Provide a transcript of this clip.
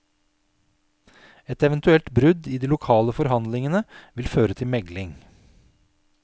Et eventuelt brudd i de lokale forhandlingene vil føre til megling.